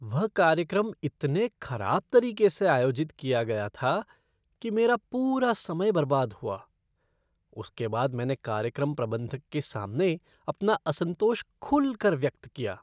वह कार्यक्रम इतने खराब तरीके से आयोजित किया गया था कि मेरा पूरा समय बर्बाद हुआ। उसके बाद मैंने कार्यक्रम प्रबंधक के सामने अपना असंतोष खुलकर व्यक्त किया।